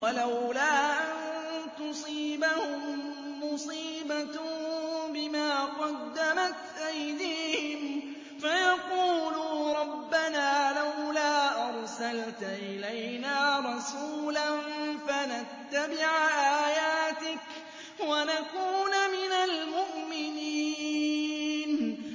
وَلَوْلَا أَن تُصِيبَهُم مُّصِيبَةٌ بِمَا قَدَّمَتْ أَيْدِيهِمْ فَيَقُولُوا رَبَّنَا لَوْلَا أَرْسَلْتَ إِلَيْنَا رَسُولًا فَنَتَّبِعَ آيَاتِكَ وَنَكُونَ مِنَ الْمُؤْمِنِينَ